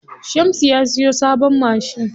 Shamsu ya siya sabon mashin.